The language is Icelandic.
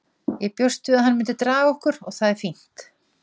Ég bjóst við að hann myndi draga okkur og það er fínt.